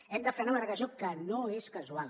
hem de frenar una regressió que no és casual